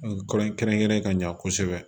Kɔri kɛrɛnkɛrɛnnen ka ɲa kosɛbɛ